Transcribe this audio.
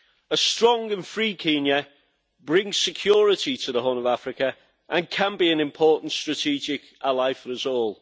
A strong and free Kenya brings security to the Horn of Africa and can be an important strategic ally for us all.